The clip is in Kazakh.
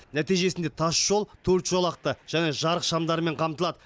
нәтижесінде тасжол төрт жолақты және жарық шамдарымен қамтылады